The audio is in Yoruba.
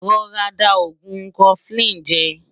rọ̀rá dà ògún koflin jè